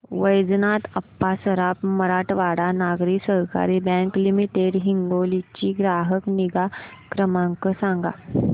वैजनाथ अप्पा सराफ मराठवाडा नागरी सहकारी bank limited Hingoli चा ग्राहक निगा क्रमांक सांगा